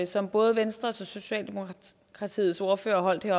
som både venstres ordfører og socialdemokratiets ordfører holdt